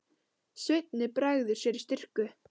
Svenni bregður sér í skyrtu.